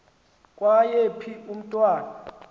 kwaye phi umntwana